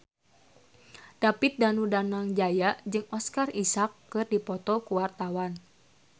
David Danu Danangjaya jeung Oscar Isaac keur dipoto ku wartawan